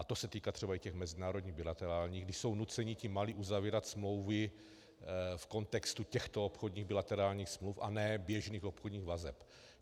A to se týká třeba i těch mezinárodních bilaterálních, kdy jsou nuceni ti malí uzavírat smlouvy v kontextu těchto obchodních bilaterálních smluv a ne běžných obchodních vazeb.